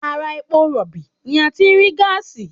Ara epo rọ̀bì ni a ti rí gáàsì